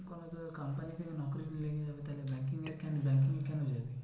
কোনো তোদের company থেকে লেগে যাবে। তাহলে banking এ আর banking এ কেন যাবি?